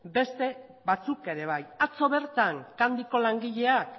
beste batzuk ere bai atzo bertan candyko langileak